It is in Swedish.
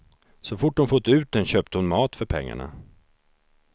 Så fort hon fått ut den köpte hon mat för pengarna.